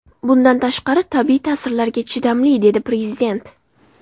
Bundan tashqari, tabiiy ta’sirlarga chidamli”, dedi Prezident.